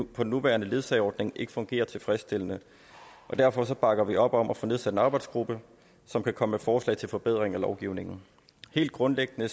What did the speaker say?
på den nuværende ledsageordning ikke fungerer tilfredsstillende og derfor bakker vi op om at få nedsat en arbejdsgruppe som kan komme med forslag til forbedring af lovgivningen helt grundlæggende